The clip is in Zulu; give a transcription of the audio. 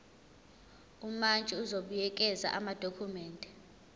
umantshi uzobuyekeza amadokhumende